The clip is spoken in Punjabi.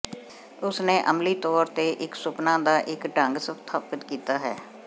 ਉਸਨੇ ਅਮਲੀ ਤੌਰ ਤੇ ਇੱਕ ਸੁਪਨਾ ਦਾ ਇੱਕ ਢੰਗ ਸਥਾਪਤ ਕੀਤਾ ਹੈ